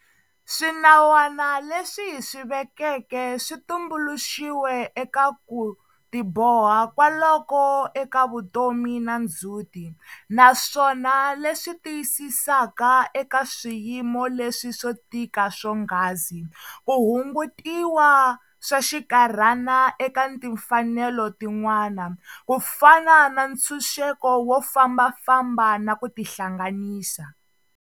Swinawana leswi hi swi vekeke swi tumbuluxiwe eka ku tiboha kwaloko eka vutomi na ndzhuti, naswona leswi tiyisisaka, eka swiyimo leswi swo tika swonghasi, ku hungutiwa swa xikarhana eka timfanelo tin'wana, ku fana na ntshuxeko wo fambafamba na ku tihlanganisa.